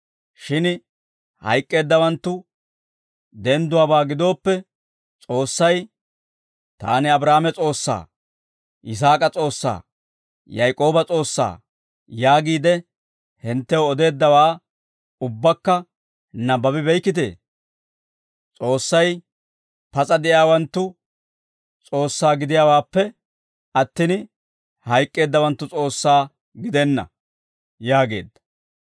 Shin hayk'k'eeddawanttu dendduwaabaa gidooppe, S'oossay, ‹Taani Abraahaame S'oossaa, Yisaak'a S'oossaa, Yaak'ooba S'oossaa› yaagiide hinttew odeeddawaa ubbakka nabbabi beykkitee? S'oossay pas'a de'iyaawanttu S'oossaa gidiyaawaappe attin, hayk'k'eeddawanttu S'oossaa gidenna» yaageedda.